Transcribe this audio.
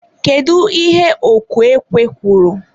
kedu ihe ọkụ ekwe kwuru?